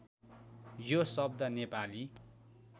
यो शब्द नेपाली